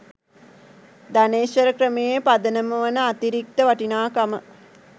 ධනේශ්වර ක්‍රමයේ පදනම වන අතිරික්ත වටිනාකම